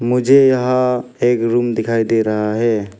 मुझे यहां एक रूम दिखाई दे रहा है।